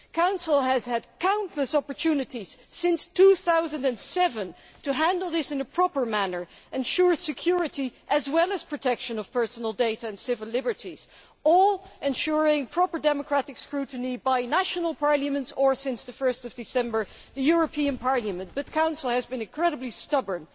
The Council has had countless opportunities since 2007 to handle this in a proper manner and ensure security, as well as protection of personal data and civil liberties, or ensure proper democratic scrutiny by national parliaments or, since 1 December, the European Parliament, but the Council has been incredibly stubborn.